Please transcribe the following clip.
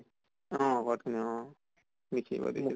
অহ code খিনি অ লিখি আহিব দিছিলে